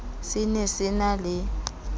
se ne se na le